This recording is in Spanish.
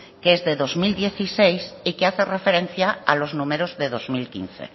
que es de dos mil dieciséis y que hace referencia a los números de dos mil quince